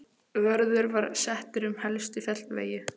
Vörður var settur um helstu fjallvegi.